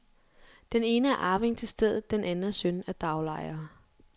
Den ene er arving til stedet, den anden er søn af daglejere.